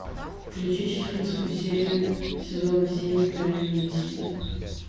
включи четырнадцатую серию сезона семь тайные истины